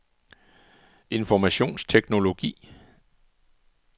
informationsteknologi